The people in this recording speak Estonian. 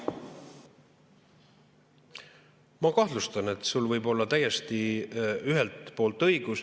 Ma kahtlustan, et sul võib olla ühelt poolt täiesti õigus.